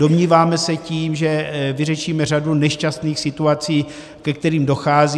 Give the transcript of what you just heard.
Domníváme se, že tím vyřešíme řadu nešťastných situací, ke kterým dochází.